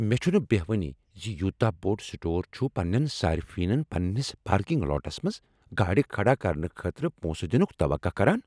مےٚ چھنہٕ بہوانٕے ز یوتاہ بوٚڑ سٹور چھ پنٛنین صٲرفینن پننِس پارکنگ لاٹس منٛز گاڑِ کھڑا کرنہٕ خٲطرٕ پونٛسہٕ دِنُك توقع کران۔